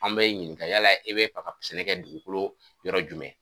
An b'e ɲininga yala e bɛ fɛ ka sɛnɛ kɛ dugukolo yɔrɔ jumɛn ,